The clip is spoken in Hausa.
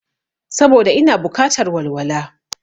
Saboda ina bukatar walwala